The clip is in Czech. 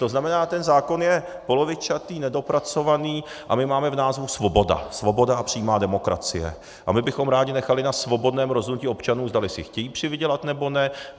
To znamená, ten zákon je polovičatý, nedopracovaný a my máme v názvu svoboda - Svoboda a přímá demokracie - a my bychom rádi nechali na svobodném rozhodnutí občanů, zdali si chtějí přivydělat, nebo ne.